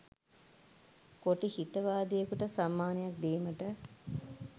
කොටි හිතවාදියෙකුට සම්මානයක් දීමට